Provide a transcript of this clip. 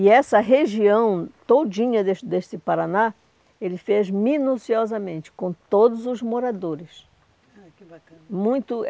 E essa região todinha deste deste Paraná, ele fez minuciosamente, com todos os moradores. Ah, que bacana. Muito